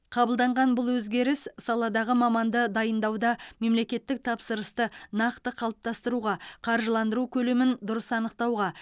қабылданған бұл өзгеріс саладағы маманды дайындауда мемлекеттік тапсырысты нақты қалыптастыруға қаржыландыру көлемін дұрыс анықтауға